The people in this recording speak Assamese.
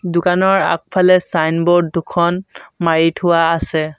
দোকানৰ আগফালে চাইনব'ৰ্ড দুখন মাৰি থোৱা আছে।